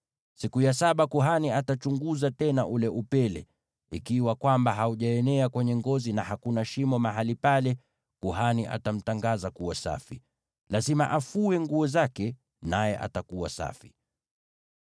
Siku ya saba kuhani atachunguza tena ule upele; ikiwa haujaenea kwenye ngozi na hakuna shimo mahali pale, kuhani atamtangaza kuwa safi. Lazima afue nguo zake, naye atakuwa safi.